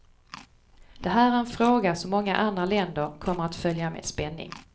Det här är en fråga som många andra länder kommer att följa med spänning.